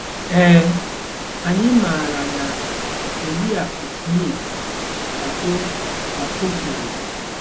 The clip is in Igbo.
Ee, anyị maara na, Oriakụ Smith, ka o, ka o kwuru.